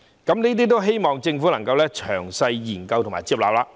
我希望政府能夠詳細研究和接納這些建議。